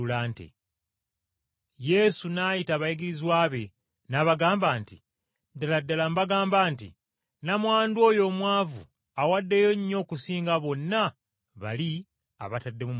Yesu n’ayita abayigirizwa be, n’abagamba nti, “Ddala ddala mbagamba nti nnamwandu oyo omwavu awaddeyo nnyo okusinga bonna bali abatadde mu ggwanika.